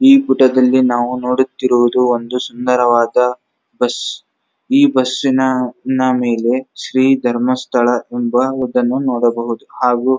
ಈ ಫೋಟೋ ದಲ್ಲಿ ನಾವು ನೊಡುತ್ತಿರುವುದು ಒಂದು ಸುಂದರವಾದ ಬಸ್ ಈ ಬಸ್ಸಿನ ಮೇಲೆ ಶ್ರೀ ಧರ್ಮಸ್ಥಳ ಎಂಬವುದನ್ನು ನೋಡಬಹದು ಹಾಗು --